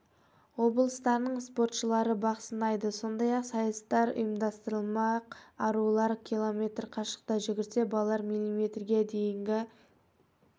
облыстарының спортшылары бақ сынайды сондай-ақ сайыстар ұйымдастырылмақ арулар км қашықтыққа жүгірсе балалар м-ден м-ге дейінгі